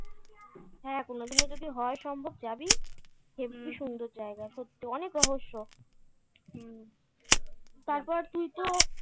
হ্যাঁ কোনদিনও যদি হয় সম্ভব যাবি সুন্দর জায়গা সত্যি অনেক রহস্য হুম তারপর তুই তো